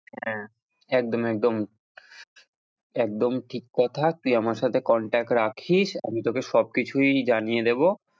একদম একদম একদম ঠিক কথা তুই আমার সাথে contact রাখিস আমি তোকে সবকিছুই জানিয়ে দেব।